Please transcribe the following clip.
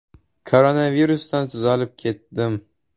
Koronavirusdan tuzalib ketdim.